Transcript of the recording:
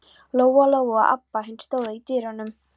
Lóa-Lóa og Abba hin stóðu í dyrunum.